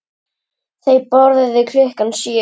Þau borðuðu klukkan sjö.